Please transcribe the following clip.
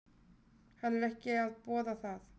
Hann er ekki að boða það.